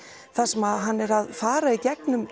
þar sem hann er að fara